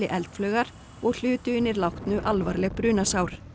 eldflaugar og hlutu hinir látnu alvarleg brunasár